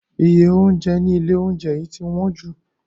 Iye oúnjẹ nílé oúnjẹ yìí ti wọ́n jù.